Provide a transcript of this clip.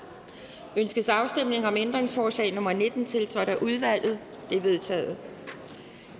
ønskes afstemning om ændringsforslag nummer nitten tiltrådt af udvalget det er vedtaget